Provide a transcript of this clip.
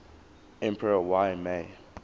emperor y mei